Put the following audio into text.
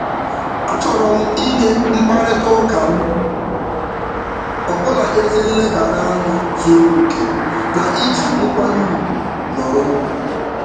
A chọrọ m inye mkparịtaụka m ọbụla ezi nlebara anya zuru oke na iji nkwanye ugwu nọrọ.